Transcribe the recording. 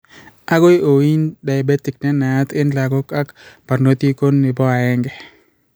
Akoi ooin diabet nenaiyat eng' lagok ak barnotik ko type 1